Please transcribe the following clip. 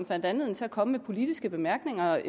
fandt anledning til at komme med politiske bemærkninger